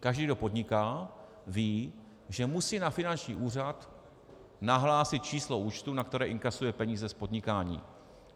Každý, kdo podniká, ví, že musí na finanční úřad nahlásit číslo účtu, na které inkasuje peníze z podnikání.